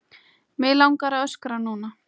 Mig langar að öskra núna.